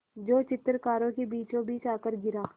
जो चित्रकारों के बीचोंबीच आकर गिरा